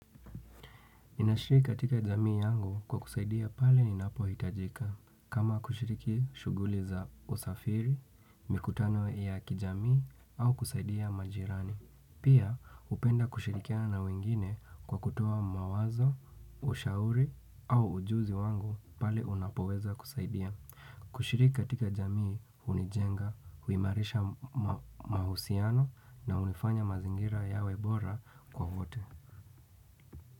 Ninashiriki katika jamii yangu kwa kusaidia pale ninapohitajika. Kama kushiriki shughuli za usafiri, mikutano ya kijamii au kusaidia majirani. Pia hupenda kushirikiana wengine kwa kutoa mawazo, ushauri au ujuzi wangu pale unapoweza kusaidia. Kushiriki katika jamii hunijenga, huimarisha mahusiano na huifanya mazingira yawe bora kwa vote.